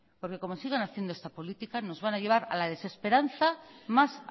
porque como sigan haciendo esta política nos van a llevar a la desesperanza más